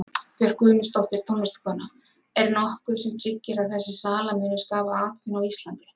Björk Guðmundsdóttir, tónlistarkona: Er nokkuð sem tryggir að þessi sala muni skapa atvinnu á Íslandi?